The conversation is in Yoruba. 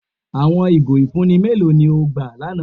Awọn igó ifunni mẹlò ni o gbà lána?